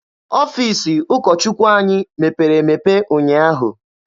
Ọfiisi ụkọ Chukwu anyị mepere emepe ụnyaahụ.